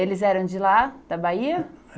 Eles eram de lá, da Bahia?